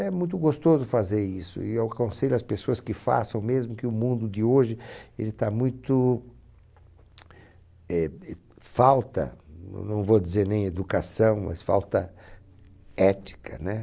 É muito gostoso fazer isso e eu aconselho as pessoas que façam, mesmo que o mundo de hoje, ele está muito... Falta, não vou dizer nem educação, mas falta ética né